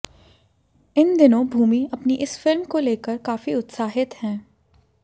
इन दिनों भूमि अपनी इस फिल्म को लेकर काफी उत्साहित हैं